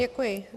Děkuji.